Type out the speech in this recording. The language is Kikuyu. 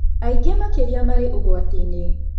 Aingĩ makĩria marĩ ũgwati-inĩ